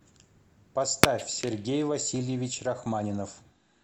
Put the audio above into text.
поставь сергей васильевич рахманинов